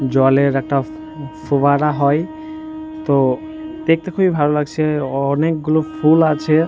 জলের একটা ফ ফোবারা হয় তো দেখতে খুবই ভালো লাগছে অ অনেকগুলো ফুল আছে।